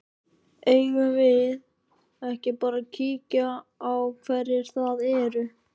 Eigum við ekki bara að kíkja á hverjir það eru?